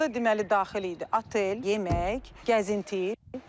Orda deməli daxil idi otel, yemək, gəzinti.